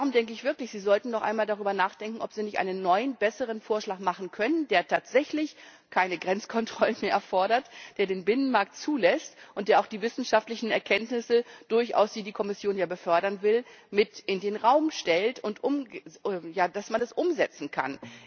Darum denke ich wirklich, Sie sollten noch einmal darüber nachdenken, ob Sie nicht einen neuen, besseren Vorschlag machen können, der tatsächlich keine Grenzkontrollen mehr erfordert, der den Binnenmarkt zulässt und der auch die wissenschaftlichen Erkenntnisse, die die Kommission ja befördern will, durchaus mit in den Raum stellt, damit man es umsetzen